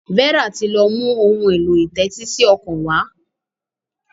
Vera tí lọ mú Ohun èlò ìtẹ́tísí ọkàn wá.